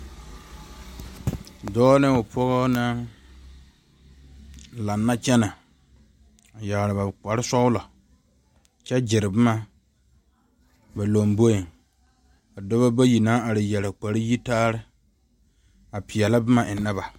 Dɔɔ ne o pɔge naŋ laŋe kyɛne, a yerɛ ba kpare sɔglɔ kyɛ gyɛre boma ba lomboe ka dɔba bayi naŋ are yeɛre kpare yaayi a pɛɛlɛ boma ennɛ ba.